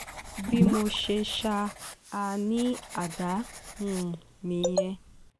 bí mo ṣe sá a ní àdá um nìyẹn